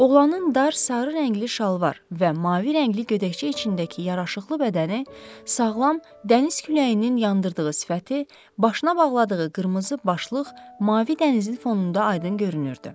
Oğlanın dar, sarı rəngli şalvar və mavi rəngli gödəkçə içindəki yaraşıqlı bədəni, sağlam, dəniz küləyinin yandırdığı sifəti, başına bağladığı qırmızı başlıq mavi dənizin fonunda aydın görünürdü.